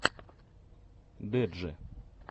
дэджи